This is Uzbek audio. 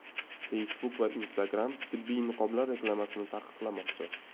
Facebook va Instagram tibbiy niqoblar reklamasini taqiqlamoqchi .